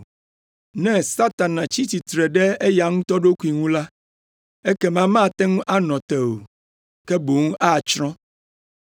Ne Satana tsi tsitre ɖe eya ŋutɔ ɖokui ŋu la, ekema mate ŋu anɔ te o, ke boŋ atsrɔ̃.